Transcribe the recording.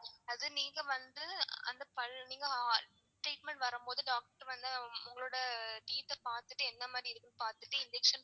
அது நீங்க வந்து அந்த பல் நீங்க treatment வரும்போது doctor வந்து உங்களோட teeth ஆ பாத்துட்டு எந்த மாதிரி இருக்கு னு பாத்துட்டு injection